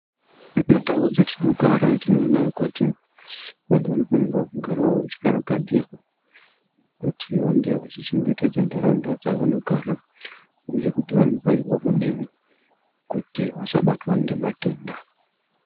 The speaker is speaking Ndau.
Mundau dzatinogara tinoona kuti vantu vanofanira kugara vachikarakadzirwa kuti vange vachichengetedza ntaraunda dzavanogara uye kuti vanofanirwa kudini kuti vasabatwa ngematenda.